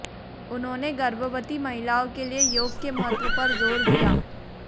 उन्होंने गर्भवती महिलाओं के लिए योग के महत्व पर जोर दिया